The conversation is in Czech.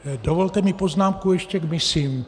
Dovolte mi poznámku ještě k misím.